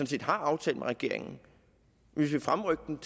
set har aftalt med regeringen vi vil fremrykke dem